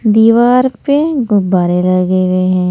दीवार पे गुब्बारे लगे हुए हैं।